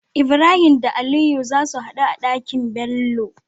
Ibrahim da aliyu zasu hadu a Ɗaki nBello